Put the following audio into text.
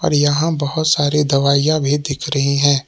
यहां बहुत सारी दवाइयां भी दिख रही हैं।